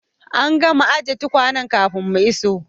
An gama ajin tukwane kafin mu iso.